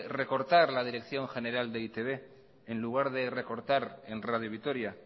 recortar la dirección general de eitbren lugar de recortar en radio vitoria